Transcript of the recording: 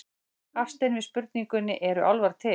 Hafstein við spurningunni Eru álfar til?